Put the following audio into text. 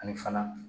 Ani fana